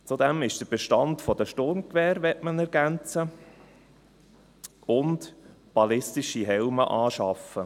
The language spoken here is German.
Zudem möchte man den Bestand an Sturmgewehren ergänzen und ballistische Helme beschaffen.